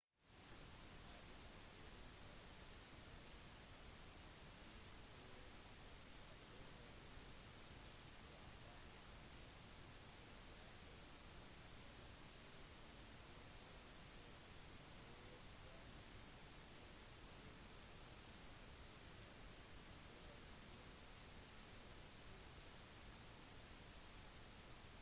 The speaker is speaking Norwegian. i bunn og grunn faller de inn i 2 kategorier enten kan du arbeide samtidig som du reiser ellers så kan du forsøke å forminske utgifter denne artikkelen ser nærmere på sistnevnte